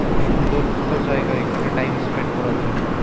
খুব সুন্দর একটা জায়গা এখানে টাইম স্পেন্ড করার জন্য।